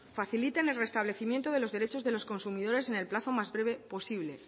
facilitan el restablecimiento de los derechos de los consumidores en el plazo más breve posible